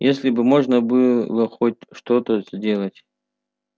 если бы можно было хоть что-то сделать